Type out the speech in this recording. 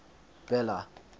bela